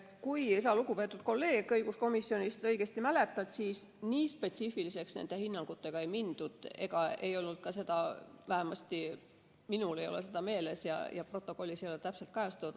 Kui sa, lugupeetud kolleeg õiguskomisjonist, õigesti mäletad, siis nii spetsiifiliseks nende hinnangutega ei mindud, vähemasti minul ei ole seda meeles ja protokollis ei ole seda täpselt kajastatud.